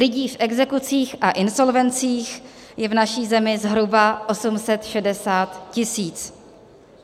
Lidí v exekucích a insolvencích je v naší zemi zhruba 860 tisíc.